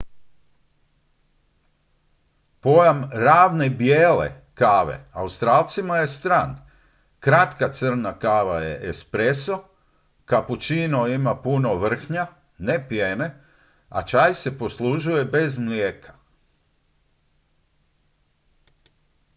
"pojam "ravne bijele" kave australcima je stran. kratka crna kava je "espresso" capuccino ima puno vrhnja ne pjene a čaj se poslužuje bez mlijeka.